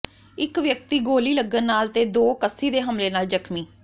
ਇਕ ਵਿਅਕਤੀ ਗੋਲੀ ਲੱਗਣ ਨਾਲ ਤੇ ਦੋ ਕੱਸੀ ਦੇ ਹਮਲੇ ਨਾਲ ਜ਼ਖ਼ਮੀ